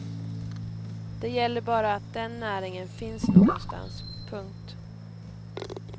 Det gäller bara att den näringen finns någonstans. punkt